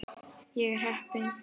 Ég er heppin.